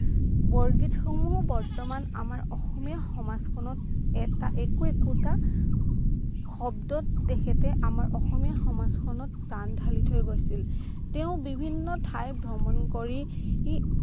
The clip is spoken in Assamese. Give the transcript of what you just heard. বৰগীত সমূহ বৰ্তমান আমাৰ অসমীয়া সমাজখনত এটা একো একোটা শব্দত তেখেতে আমাৰ অসমীয়া সমাজখনত প্ৰাণ ঢালি থৈ গৈছিল তেওঁ বিভিন্ন ঠাই ভ্ৰমণ কৰিয়ে